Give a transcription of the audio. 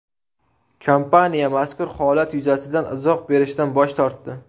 Kompaniya mazkur holat yuzasidan izoh berishdan bosh tortdi.